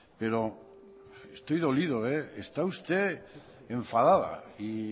pero estoy dolido está usted enfadada y